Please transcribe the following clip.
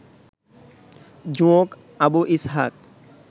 জোঁক Abu Ishaq